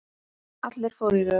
Allir fóru í röð.